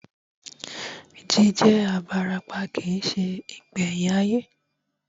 Jí jẹ́ abarapá kìí se ìgbẹ̀yìn ayé